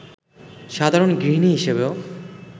সাধারণ গৃহিণী হিসেবেও